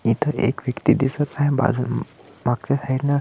इथ एक व्यक्ति दिसत आहे बाजून मागच्या साइडन --